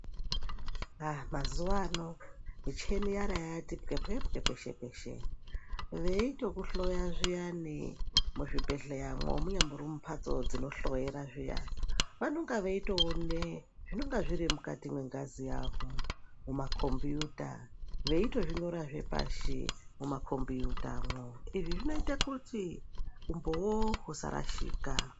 Aa mazuwaano, micheni yara yati pwepwepwe peshe-peshe. Veitokuhloya zviyani, muzvibhedhleyamwo, munyambori mumphatso dzinohloyera zviya, vononga veitoone zvinonga zviri mukati mwengazi yako mumakombiyuta, veitozvinyorazve pashi mumakombiyutamwo. Izvi zvinoite kuti umboo husarashika.